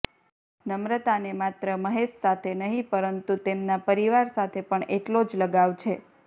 ન્રમતાને માત્ર મહેશ સાથે નહીં પરતું તેમના પરિવાર સાથે પણ એટલો જ લગાવ છે